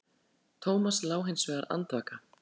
Thomas lá hins vegar andvaka.